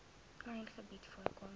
klein gebied voorkom